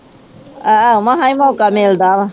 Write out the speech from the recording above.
ਆਹ ਮਸਾਂ ਹੀ ਮੌਕਾ ਮਿਲਦਾ।